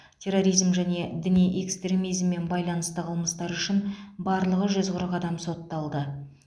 терроризм және діни экстремизммен байланысты қылмыстары үшін барлығы жүз қырық адам сотталды